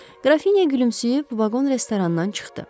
Qrafinya gülümsəyib vaqon-restorandan çıxdı.